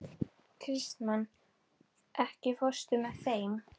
Kristmann, ekki fórstu með þeim?